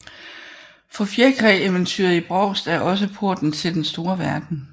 For fjerkræeventyret i Brovst er også porten til den store verden